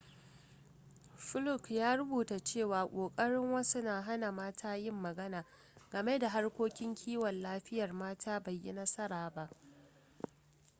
fluke ya rubuta cewa ƙoƙarin wasu na hana mata yin magana game da harkokin kiwon lafiyar mata bai yi nasara ba